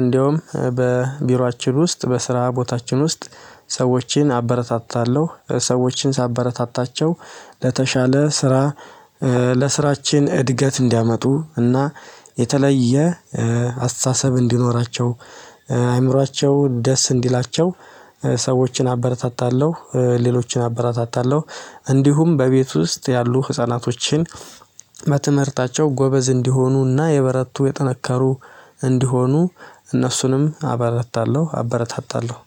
እንደውም በቢሮአችን ውስጥ በስራ ቦታችን ውስጥ ሰዎችን አበረታታለሁ ሰዎችን ሳበረታታቸው ለተሻለ ስራ። ለስራችን እድገት እንዲያመጡ እና የተለየ አስተሳሰብ እንዲኖራቸው አይምሯቸው ደስ እንዲላቸው። ሰዎችን አበረታታለሁ ሌሎችን አበረታታለሁ። እንዲሁም በቤት ውስጥ ያሉ ህፃናቶችን በትምህርታቸው ጎበዝ እንዲሆኑና የበረቱ የጠነከሩ እንዲሆኑ እነሱንም አበረታለሁ አበረታታለሁ።